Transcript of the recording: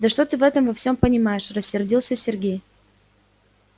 да что ты в этом во всём понимаешь рассердился сергей